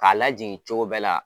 K'a lajigin cogo bɛɛ la.